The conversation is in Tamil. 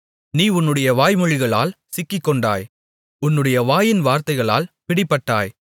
நீ உன்னுடைய வாய்மொழிகளால் சிக்கிக்கொண்டாய் உன்னுடைய வாயின் வார்த்தைகளால் பிடிபட்டாய்